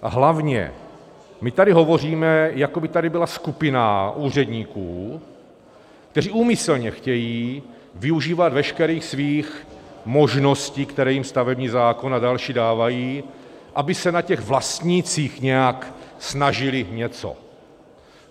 A hlavně, my tady hovoříme, jako by tady byla skupina úředníků, kteří úmyslně chtějí využívat veškerých svých možností, které jim stavební zákon a další dávají, aby se na těch vlastnících nějak snažili něco.